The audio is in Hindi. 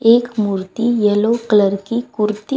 एक मूर्ति येलो कलर की कुर्ती--